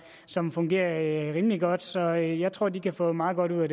som fungerer rimelig godt så jeg tror de kan få meget godt ud